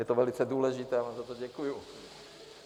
Je to velice důležité a já vám za to děkuji.